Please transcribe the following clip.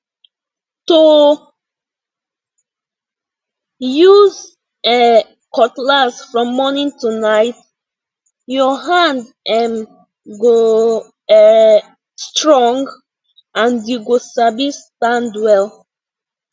to use um cutlass from morning to night your hand um go um strong and you go sabi stand well